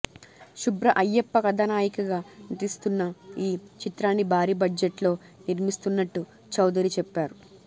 శుభ్ర అయ్యప్ప కథానాయికగా నటిస్తున్న ఈ చిత్రాన్ని భారీ బడ్జెట్ తో నిర్మిస్తున్నట్టు చౌదరి చెప్పారు